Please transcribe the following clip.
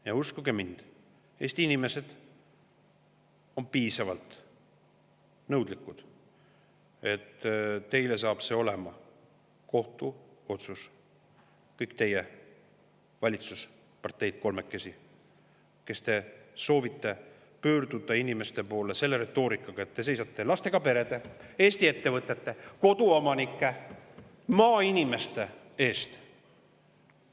Ja uskuge mind, Eesti inimesed on piisavalt nõudlikud, nii et teile saab see olema kohtuotsus, kõik teie kolm valitsusparteid, kes te soovite pöörduda inimeste poole selle retoorikaga, et te seisate lastega perede, Eesti ettevõtete, koduomanike ja maainimeste eest.